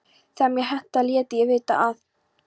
Þegar mér hentaði léti ég vita að